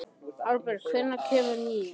Aðalbert, hvenær kemur nían?